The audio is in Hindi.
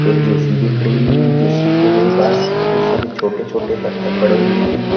एक जे_सी_बी खड़ी हुई जेसी के में पास बहुत सारे छोटे छोटे पत्थर पड़े हुए हैं।